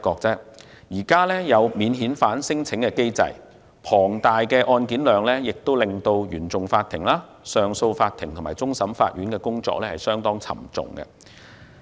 在現時的免遣返聲請機制下，龐大的案件量令原訟法庭、上訴法庭和終審法院的工作相當沉重。